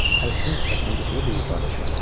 Əzgin sifətinə yuxulu bir ifadə çöktü.